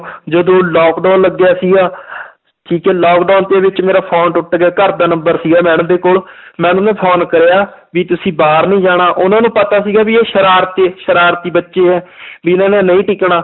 ਜਦੋਂ lockdown ਲੱਗਿਆ ਸੀਗਾ ਠੀਕ ਹੈ lockdown ਦੇ ਵਿੱਚ ਮੇਰਾ phone ਟੁੱਟ ਗਿਆ ਘਰਦਾ number ਸੀਗਾ madam ਦੇ ਕੋਲ madam ਨੂੰ phone ਕਰਿਆ ਵੀ ਤੁਸੀਂ ਬਾਹਰ ਨੀ ਜਾਣਾ, ਉਹਨਾਂ ਨੂੰ ਪਤਾ ਸੀਗਾ ਵੀ ਇਹ ਸਰਾਰਤੀ ਸਰਾਰਤੀ ਬੱਚੇ ਹੈ ਵੀ ਇਹਨਾਂ ਨੇ ਨਹੀਂ ਟਿਕਣਾ